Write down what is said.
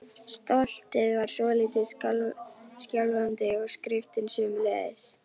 Stoltið var svolítið skjálfandi og skriftin sömuleiðis.